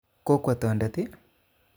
Kokwo tondet i?